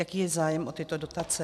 Jaký je zájem o tyto dotace?